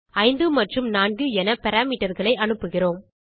5 மற்றும் 4 என parameterகளை அனுப்புகிறோம்